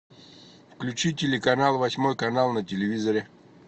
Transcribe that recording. включи телеканал восьмой канал на телевизоре